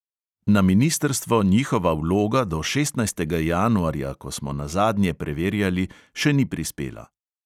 Na ministrstvo njihova vloga do šestnajstega januarja, ko smo nazadnje preverjali, še ni prispela.